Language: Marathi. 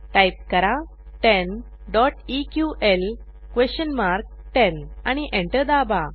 टाईप करा 10 eql10 आणि एंटर दाबा